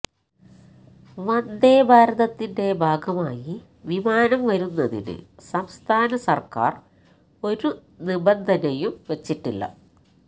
വന്ദേഭാരതത്തിന്റെ ഭാഗമായി വിമാനം വരുന്നതിന് സംസ്ഥാന സർക്കാർ ഒരു നിബന്ധനയും വച്ചിട്ടില്ല